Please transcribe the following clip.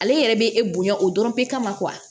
Ale yɛrɛ bɛ e bonya o dɔrɔn tɛ ma